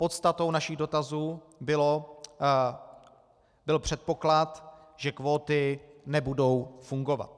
Podstatou našich dotazů byl předpoklad, že kvóty nebudou fungovat.